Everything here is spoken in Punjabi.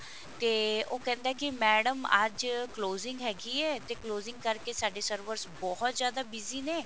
ਤੇ ਉਹ ਕਹਿੰਦਾ ਹੈ ਕਿ madam ਅੱਜ closing ਹੈਗੀ ਹੈ ਤੇ closing ਕਰਕੇ ਸਾਡੇ servers ਬਹੁਤ ਜਿਆਦਾ busy ਨੇ